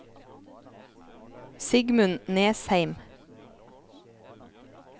Sigmund Nesheim